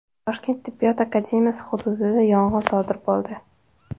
Toshkent tibbiyot akademiyasi hududida yong‘in sodir bo‘ldi.